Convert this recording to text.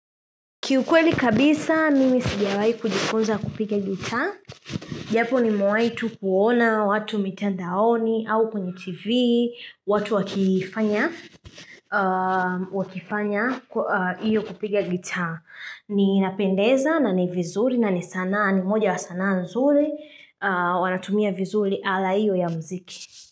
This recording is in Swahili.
Kiukweli kabisa, mimi sijawai kujikunza kupiga gita. Japo ni mwaitu kuona watu mitandaoni au kwenye tv, watu wakifanya iyo kupiga gita. Inapendeza, na ni vizuri, na ni sanaa, ni moja wa sanaa nzuri, wanatumia vizuri ala iyo ya mziki.